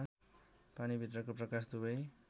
पानीभित्रको प्रकाश दुवै